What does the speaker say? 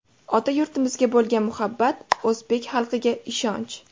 Ota yurtimizga bo‘lgan muhabbat, o‘zbek xalqiga ishonch.